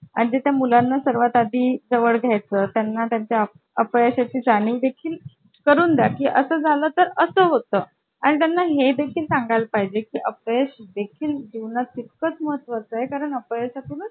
नमस्कार मला माझ्या घरातील काही वस्तू आपल्या संकेतस्थळावर वस्तू विकण्यासाठी प्रसिद्ध करायचे आहेत परंतु तांत्रिक दृष्ट्या मला ते जमत नाही त्यासाठी आपली मदत हवी आहे